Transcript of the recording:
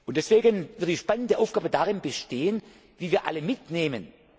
Union. Deswegen wird die spannende Aufgabe darin bestehen, wie wir alle mitnehmen.